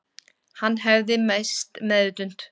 Hann hefði misst meðvitund